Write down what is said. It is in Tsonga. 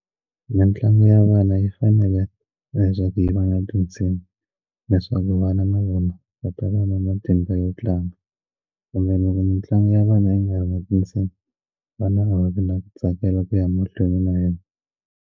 Mintlangu ya vana yi fanele leswaku yi va na tinsimu leswaku vana na vona va ta va na matimba yo tlanga kumbe loko mitlangu ya vana yi nga ri na tinsimu vana a va vi na ku tsakela ku ya mahlweni na yona.